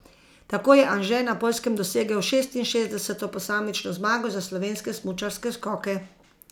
Tako je Anže na Poljskem dosegel šestinšestdeseto posamično zmago za slovenske smučarske skoke.